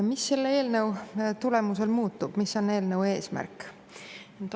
Mis selle eelnõu tulemusel muutub, mis on eelnõu eesmärk?